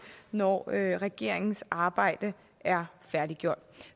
når regeringens arbejde er færdiggjort